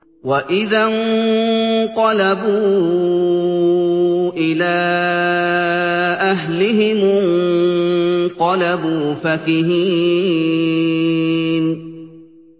وَإِذَا انقَلَبُوا إِلَىٰ أَهْلِهِمُ انقَلَبُوا فَكِهِينَ